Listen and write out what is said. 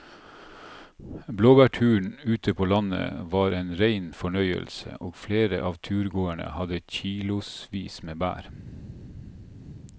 Blåbærturen ute på landet var en rein fornøyelse og flere av turgåerene hadde kilosvis med bær.